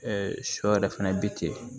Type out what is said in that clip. sɔ yɛrɛ fɛnɛ bi ten